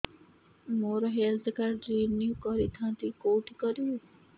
ମୋର health card renew କରିଥାନ୍ତି କୋଉଠି କରିବି